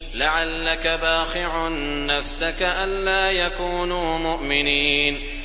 لَعَلَّكَ بَاخِعٌ نَّفْسَكَ أَلَّا يَكُونُوا مُؤْمِنِينَ